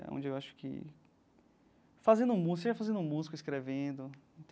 É onde eu acho que fazendo música, você vai fazendo música escrevendo.